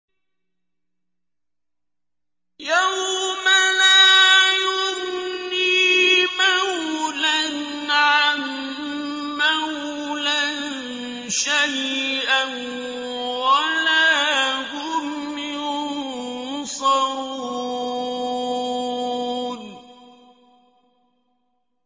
يَوْمَ لَا يُغْنِي مَوْلًى عَن مَّوْلًى شَيْئًا وَلَا هُمْ يُنصَرُونَ